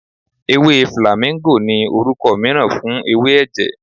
Ewé flàmíngò ni orúkọ mìíràn fún ewé ẹ̀jẹ̀.